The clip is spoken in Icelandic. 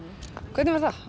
hvernig var það